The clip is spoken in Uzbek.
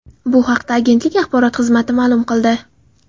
Bu haqda agentlik axborot xizmati ma’lum qildi .